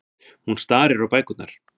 Hún starir á bækurnar.